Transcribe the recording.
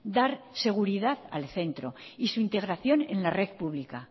dar seguridad al centro y su integración en la red pública